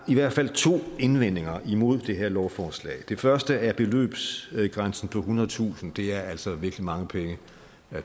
i hvert fald to indvendinger imod det her lovforslag det første er beløbsgrænsen på ethundredetusind kroner det er altså virkelig mange penge